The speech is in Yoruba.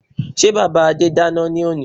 Sé bàbá Adé dáná ní òní?